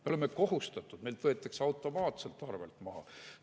Me oleme kohustatud, meilt võetakse automaatselt arvelt maha.